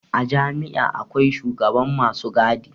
A jami'a akwai shugaban masu gadi